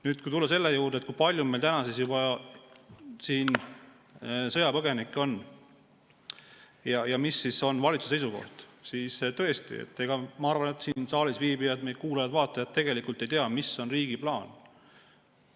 Nüüd, kui tulla selle juurde, kui palju meil täna juba sõjapõgenikke on ja mis on valitsuse seisukoht, siis tõesti, ma arvan, et siin saalis viibijad ega meie kuulajad-vaatajad tegelikult ei tea, mis on riigi plaan.